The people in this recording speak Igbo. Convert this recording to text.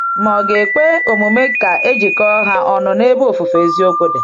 Ma ọ̀ ga-ekwe omume ka e jikọta ha ọnụ n’ebe ofufe eziokwu dị?